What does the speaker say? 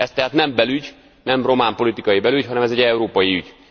Ezt tehát nem belügy, nem román politikai belügy, hanem ez egy európai ügy.